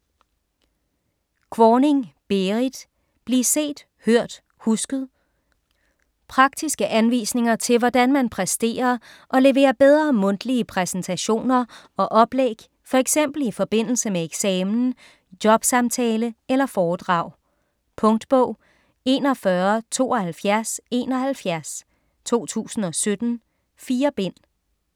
Kvorning, Berrit: Bliv set, hørt, husket Praktiske anvisninger til hvordan man præsterer og leverer bedre mundtlige præsentationer og oplæg, f.eks. i forbindelse med eksamen, jobsamtale eller foredrag. Punktbog 417271 2017. 4 bind.